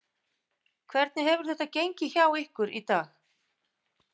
Hvernig hefur þetta gengið hjá ykkur í dag?